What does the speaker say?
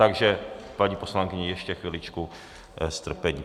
Takže paní poslankyně, ještě chviličku strpení.